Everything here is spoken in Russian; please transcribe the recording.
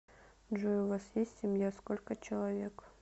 джой у вас есть семья сколько человек